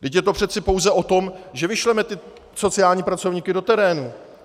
Vždyť je to přeci pouze o tom, že vyšleme ty sociální pracovníky do terénu.